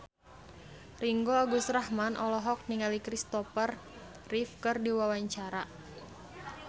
Ringgo Agus Rahman olohok ningali Christopher Reeve keur diwawancara